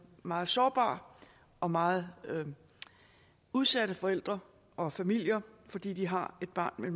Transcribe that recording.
meget sårbare og meget udsatte forældre og familier fordi de har et barn med